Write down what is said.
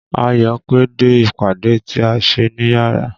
Ayọ̀ pẹ́ dé ìpàdé tí a ṣe níyárà.